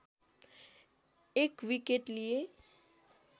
१ wicket लिए